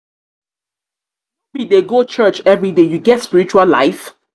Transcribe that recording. no be dey go church everyday you get spiritual life?